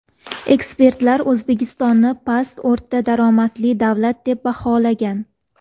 Ekspertlar O‘zbekistonni past-o‘rta daromadli davlat deb baholagan.